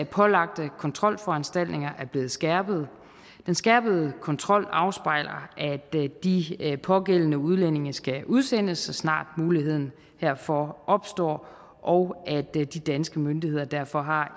pålagte kontrolforanstaltninger er blevet skærpet den skærpede kontrol afspejler at de pågældende udlændinge skal udsendes så snart muligheden herfor opstår og at de danske myndigheder derfor har